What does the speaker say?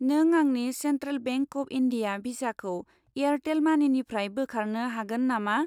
नों आंनि Central Bank of India भिसाखौ एयारटेल मानिनिफ्राय बोखारनो हागोन नामा?